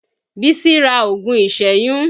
Bísí ra oògùn ìsẹ́yún